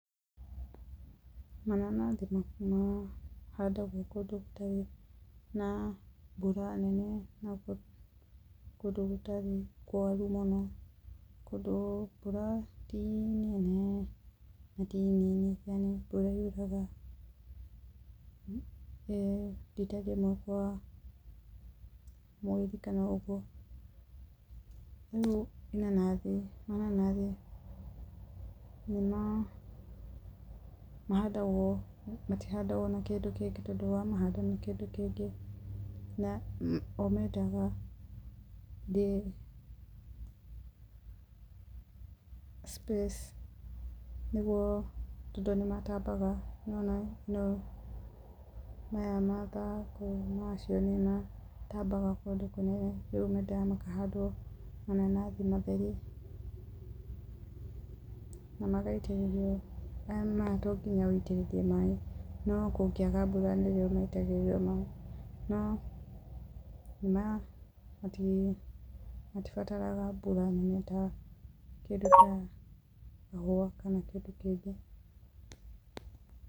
Mananathi mahandagwo kũndũ gũtarĩ na mbura nene na kũndũ gũtarĩ kwaru mũno. Kũndũ mbura ti nene na ti nini yani mbura yuraga rita rĩmwe kwa mweri kana ũguo. Rĩu inanathi, mananathi nĩmahandagwo matihandagwo na kĩndũ kĩngĩ, tondũ wamahanda na kĩndũ kĩngĩ, o mendaga space nĩguo tondũ nĩmatambaga nĩwona-ĩ, maya mathangũ macio nĩmatambaga kũndũ kũnene, rĩu mendaga makahandwo mananathi matheri, na magaitĩtĩrio, mayo to nginya wĩitĩrĩrie maĩ, no kũngĩaga mbura nĩrĩo maitagĩrĩrio maĩ, no matibataraga mbura nene ta kĩndũ ta kahũa kana kĩndũ kĩngĩ.